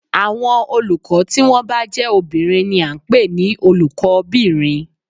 Àwọn olùkọ́ tí wọ́n bá jé obìnrin ni a n pè ní Olùkó bìnrin